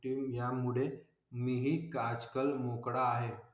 ति यामुळे मी ही आजकाल मोकळा आहे.